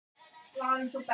Hvað er sólin þung?